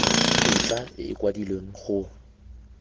tetla e e kwadilweng go